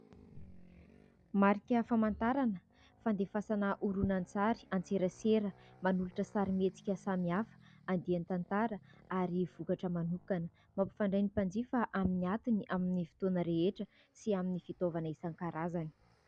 Marika famantarana fandefasana horonan-tsary an-tserasera, manolotra sarimihetsika samihafa, andian-tantara ary vokatra manokana. Mampifandray ny mpanjifa amin'ny atiny, amin'ny fotoana rehetra sy amin'ny fitaovana isan-karazany.